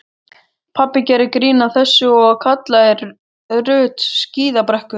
Pabbi gerði grín að þessu og kallaði Ruth skíðabrekkuna.